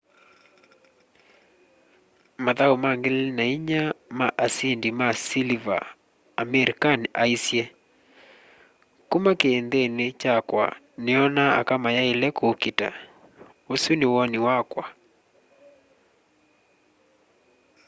mathau ma 2004 ma asindi ma siliva amir khan aisye kuma kiinthini kyakwa niona aka mayaile kuukita usu ni woni wakwa